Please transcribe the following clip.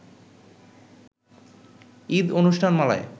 Eid অনুষ্ঠানমালায়